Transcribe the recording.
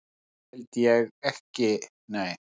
Það held ég ekki nei.